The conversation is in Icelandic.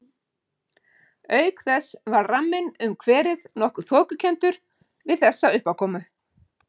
Auk þess varð ramminn um kverið nokkuð þokukenndur við þessa uppákomu.